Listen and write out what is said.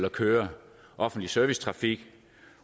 at køre offentlig service trafik